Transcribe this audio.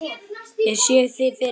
Ég sé þig fyrir mér.